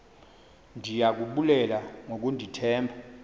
ndiya kubulela ngokundithemba